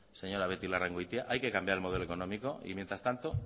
señora beitialarrangoitia hay que cambiar el modelo económico y mientras tanto